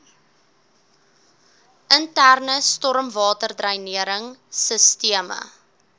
interne stormwaterdreinering sisteme